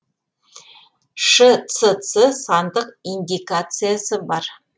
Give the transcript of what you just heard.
шцц сандық индикациясы бар